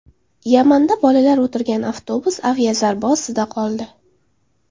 Yamanda bolalar o‘tirgan avtobus aviazarba ostida qoldi.